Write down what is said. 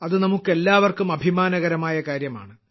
അതു നമുക്കെല്ലാവർക്കും അഭിമാനകരമായ കാര്യമാണ്